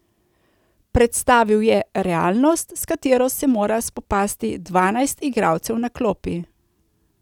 Predstavil je realnost, s katero se mora spopasti dvanajst igralcev na klopi.